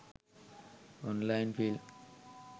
online film